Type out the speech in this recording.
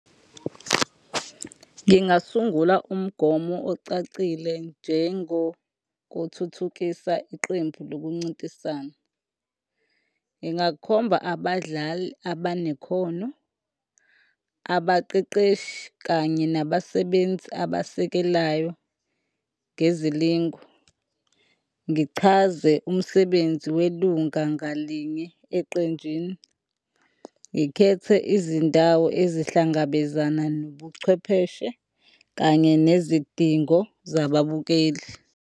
Ngingasungula umgomo ocacile njengokuthuthukisa iqembu lokuncintisana. Ngingakhomba abadlali abanekhono, abaqeqeshi kanye nabasebenzi abasekelayo ngezilingo, ngichaze umsebenzi welunga ngalinye eqenjini, ngikhethe izindawo ezihlangabezana nobuchwepheshe kanye nezidingo zabababukeli.